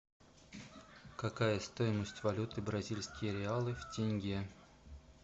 какая стоимость валюты бразильские реалы в тенге